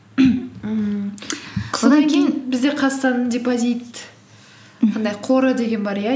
бізде қазақстанның депозит анандай қоры деген бар иә